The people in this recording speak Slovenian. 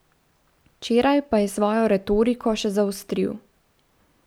Včeraj pa je svojo retoriko še zaostril.